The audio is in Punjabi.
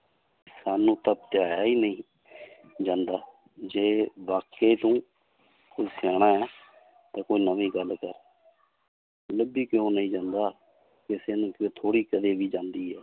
ਤੁਹਾਨੂੰ ਤਾਂ ਧਿਆਇਆ ਹੀ ਨੀ ਜਾਂਦਾ ਜੇ ਵਾਕੇ ਤੂੰ ਹੈ ਤਾਂ ਕੋਈ ਨਵੀਂ ਗੱਲ ਕਰ ਲੱਭੀ ਕਿਉਂ ਨੀ ਜਾਂਦਾ ਥੋੜ੍ਹੀ ਕਦੇ ਵੀ ਜਾਂਦੀ ਹੈ